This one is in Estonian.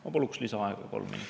Ma paluks lisaaega kolm minutit.